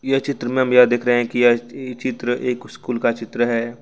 यह चित्र में यह देख रहे हैं की यह चित्र एक स्कूल का चित्र है।